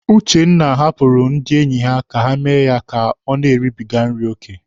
Uchenna hapụrụ ndị enyi ya ka ha mee ya ka o na-eribiga nri oke.